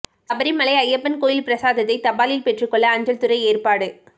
சபரிமலை ஐயப்பன் கோயில் பிரசாதத்தை தபாலில் பெற்றுக் கொள்ள அஞ்சல்துறை ஏற்பாடு